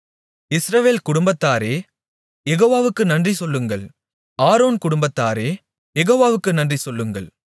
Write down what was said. இஸ்ரவேல் குடும்பத்தாரே யெகோவாவுக்கு நன்றிசொல்லுங்கள் ஆரோன் குடும்பத்தாரே யெகோவாவுக்கு நன்றிசொல்லுங்கள்